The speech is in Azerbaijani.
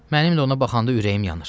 Mənim də ona baxanda ürəyim yanır.